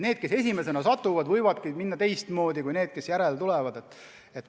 Need, kes esimesena mõne üleastumisega kohtu ette satuvad, võivadki saada teistsuguse otsuse kui need, kes järgmisena tulevad.